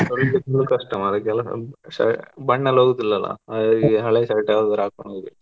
ತೊಳಿದಕ್ ಇನ್ನೂ ಕಷ್ಟ ಮಾರೆ ಅಲ್ಲ ಬಣ್ಣ ಎಲ್ಲಾ ಹೋಗೋದಿಲ್ಲಲ್ಲ ಹಾಗಾಗಿ ಹಳೆ shirt ಯಾವ್ದಾರ ಹಾಕೊಂಡ್ ಹೋಗ್ಬೇಕು.